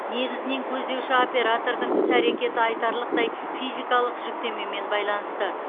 негізінен көздеуші оператордың іс әрекеті айтарлықтай физикалық жүктемемен байланысты